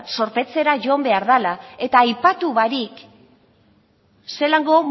zorpetzera joan behar dela eta aipatu barik zelango